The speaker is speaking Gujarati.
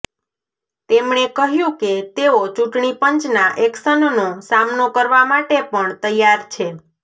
તેમણે કહ્યું કે તેઓ ચૂંટણી પંચના એક્શનનો સામનો કરવા માટે પણ તૈયાર છે